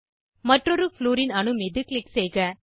மற்றொரு ப்ளூரின் அணு மீது க்ளிக் செய்க